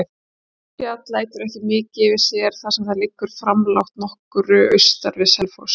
Hestfjall lætur ekki mikið yfir sér, þar sem það liggur framlágt nokkru austan við Selfoss.